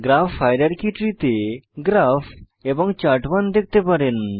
graph hierarchy tree তে graph এবং চার্ট1 দেখতে পারেন